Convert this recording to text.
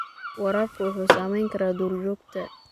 Waraabku wuxuu saamayn karaa duurjoogta.